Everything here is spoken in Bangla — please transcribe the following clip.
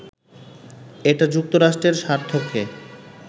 এটা যুক্তরাষ্ট্রের স্বার্থকে